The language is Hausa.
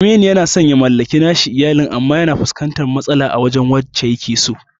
Aminu yana san ya mallaki nashi iyalin, amma yana fuskantar matsala wajen wadda yakeso.